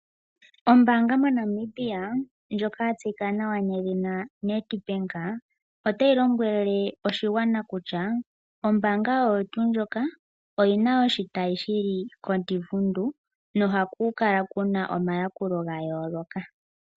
Ombaanga moNamibia ndjoka ya tseyika nawa nedhina Ned Bank, otayi lombwelwe oshigwana kutya, ombaanga oyo tuu ndjoka oyi na oshitayi shi li koDivundu nohaku kala ku na omayakulo ga yooloka.